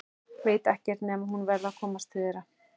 Veit ekkert nema að hún verður að komast til þeirra.